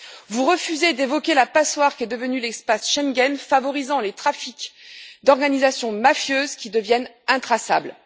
Vous refusez d'évoquer la passoire qu'est devenu l'espace Schengen, favorisant les trafics d'organisations mafieuses, qui deviennent intraçables.